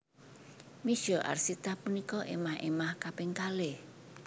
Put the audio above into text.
Misye Arsita punika émah émah kaping kalih